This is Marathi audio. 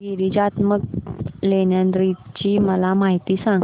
गिरिजात्मज लेण्याद्री ची मला माहिती सांग